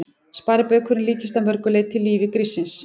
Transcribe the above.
Sparibaukurinn líkist að mörg leyti lífi gríssins.